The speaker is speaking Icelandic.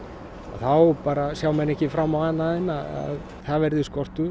þá sjá menn ekki fram á annað en að það verði skortur